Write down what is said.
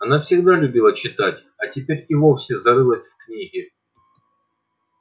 она всегда любила читать а теперь и вовсе зарылась в книги